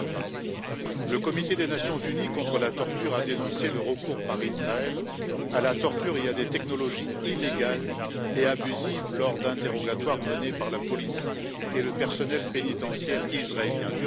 2020. Le comité des Nations unies contre la torture a dénoncé le recours par Israël à la torture et à des technologies illégales et abusives lors d'interrogatoires menés par la police et le personnel pénitentiaire israéliens